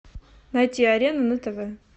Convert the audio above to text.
найти арена на тв